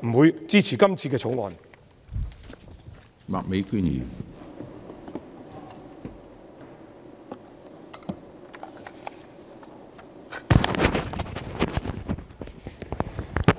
不會支持《條例草案》。